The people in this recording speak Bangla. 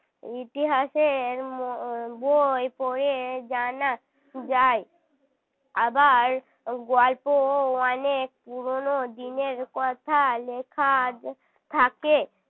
ইতিহাসের উম বই পড়ে জানা যায়। আবার গল্প অনেক পুরনো দিনের কথা লেখা থাকে